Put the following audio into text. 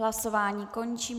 Hlasování končím.